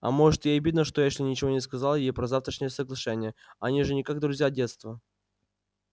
а может ей обидно что эшли ничего не сказал ей про завтрашнее соглашение они же как-никак друзья детства